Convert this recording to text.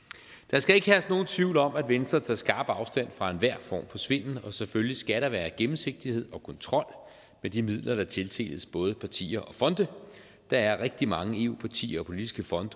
skal ikke herske nogen tvivl om at venstre tager skarpt afstand fra enhver form for svindel og selvfølgelig skal der være gennemsigtighed og kontrol med de midler der tildeles både partier og fonde der er rigtig mange eu partier og politiske fonde